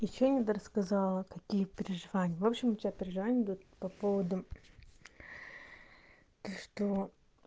ещё не до рассказала какие переживания в общем у тебя переживают по поводу то что